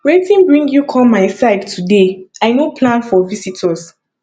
wetin bring you come my side today i no plan for visitors